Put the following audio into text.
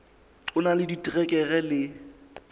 o na le diterekere le